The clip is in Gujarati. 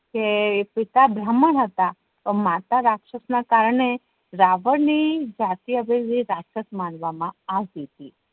કે પિતા બ્રહ્માન હતા માતા રાક્ષસ ના કારણે રાવણ ની જાતિ રાક્ષસ માનવા મા આવતી હતી